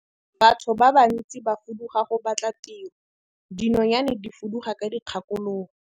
batho ba bantsi ba fuduga go batla tiro, dinonyane di fuduga ka dikgakologo.